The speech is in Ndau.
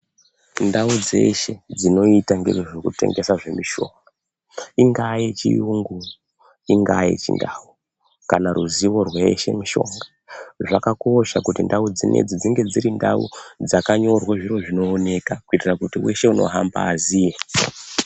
Ndau dzeshe dzinoita nezvekutengesa zvemishonga ingava yechirungu ingava yechindau kana ruzivo rweshe mishonga zvakakosha kuti ndau dzese ndau dzinezdi dzinenge zviro zvinoonekwa kuitira kuti wese anohamba azive.